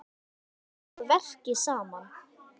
Alltaf að verki saman.